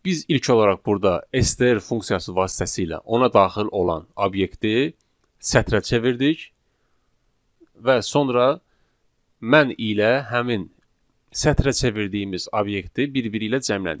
Biz ilk olaraq burda STR funksiyası vasitəsilə ona daxil olan obyekti sətrə çevirdik və sonra mən ilə həmin sətrə çevirdiyimiz obyekti bir-biri ilə cəmlədik.